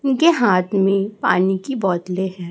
उनके हाथ में पानी की बोतलें है।